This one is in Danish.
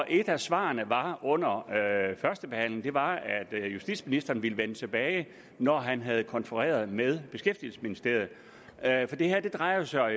et af svarene under førstebehandlingen var at justitsministeren ville vende tilbage med når han havde konfereret med beskæftigelsesministeriet da det her jo drejede sig